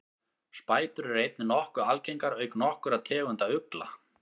spætur eru einnig nokkuð algengar auk nokkurra tegunda ugla